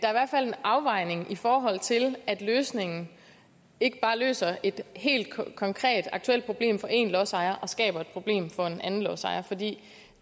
fald en afvejning i forhold til at løsningen ikke bare løser et helt konkret aktuelt problem for én lodsejer og skaber et problem for en anden lodsejer for vi